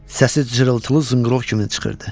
Səsi cırıltılı zınqırov kimi çıxırdı.